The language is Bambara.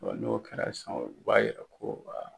Wa, n'o kɛra sa, u b'a jira ko wa